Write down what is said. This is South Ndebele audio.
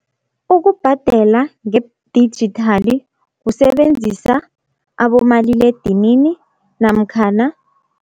Ukubhadela ngedijithali kusebenzisa abomaliledinini namkhana